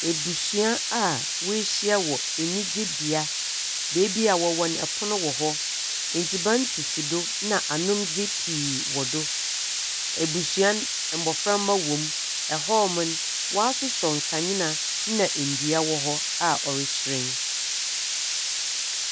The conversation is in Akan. Ebusua a woehyia wɔ enyigyebea, beebi a wɔwɔ no pon si hɔ. Edziban sisi na anondze pii wɔ do. Ebusua no, mboframba wɔ mu. Hɔ no, wɔasosɔ nkandzea na ndua wɔ hɔ a ɔrehyerɛn.